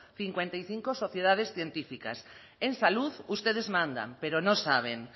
cincuenta y cinco sociedades científicas en salud ustedes mandan pero no saben